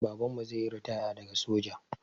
Babanmu zaiyi ritaya daga soja